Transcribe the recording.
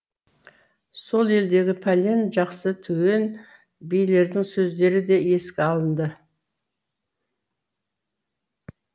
сол елдегі пәлен жақсы түген билердің сөздері де еске алынды